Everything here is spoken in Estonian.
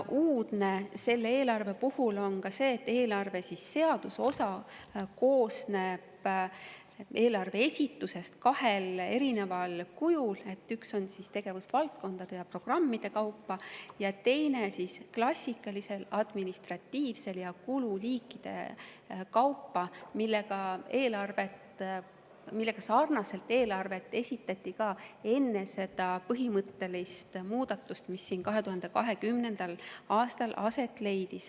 Uudne on selle eelarve puhul ka see, et seaduse osa koosneb eelarve esitusest kahel erineval kujul: üks on tegevusvaldkondade ja programmide kaupa ning teine on klassikalisel administratiivsel viisil ja kululiikide kaupa, nagu eelarvet esitati ka enne seda põhimõttelist muudatust, mis 2020. aastal aset leidis.